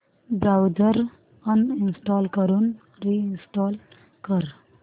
browser uninstall करून reinstall कर